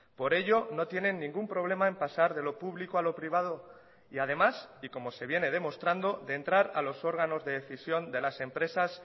por ello no tienen ningún problema en pasar de lo público a lo privado y además y como se viene demostrando de entrar a los órganos de decisión de las empresas